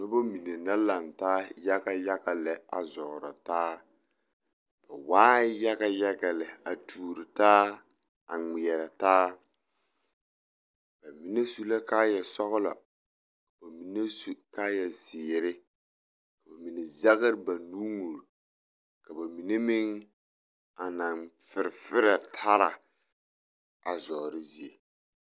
Noba mine la laŋ taa yaga yaga lɛ a zɔɔrɔ taa ba waaɛ yaga yaga lɛ a tuori taa a ŋmeɛrɛ taa ba mine su la kaayasɔglɔ ka ba mine su kaayazeere ka ba mine zɛgre ba nuuri ka ba mine meŋ a naŋ fereferɛ tara a zɔɔre zie.